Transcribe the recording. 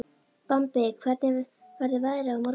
Bambi, hvernig verður veðrið á morgun?